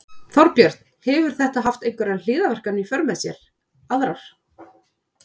Þorbjörn: Hefur þetta haft einhverjar hliðarverkanir í för með sér aðrar?